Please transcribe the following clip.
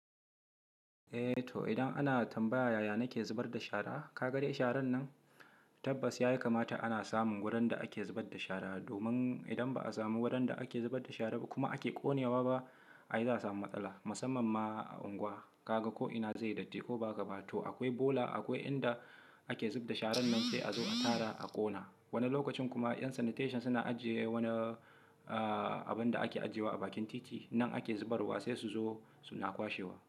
Eh to idan ana tambaya yaya nake zubar da shara? Ka ga dai sharan nan, tabbas ya kamata ana samun wurin da ake zubar da shara. Domin idan ba a samu wurin da ake zubar da shara kuma ake ƙonewa ba ai za a samu matsala. Musamman ma a angwa. Ka ga ko ina zai yi datti ko ba gabata. To akwai bola akwai inda ake zub da sharan nan sai a zo a tara a ƙona. Wani lokacin kuma yan sanitation suna ajiye wani, aaaa, abin da ake ajiye wa a bakin titi. Nan ake zubarwa sai su zo suna kwashewa.